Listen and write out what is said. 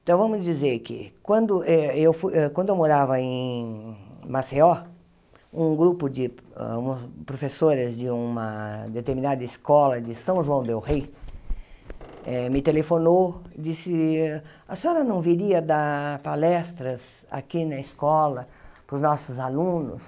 Então, vamos dizer que quando eh eu fui quando eu morava em Maceió, um grupo de um a professores de uma determinada escola de São João del rei, eh me telefonou e disse, a senhora não viria dar palestras aqui na escola para os nossos alunos?